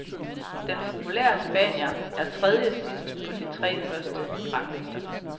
Den populære spanier er tredjesidst på de tre første ranglister.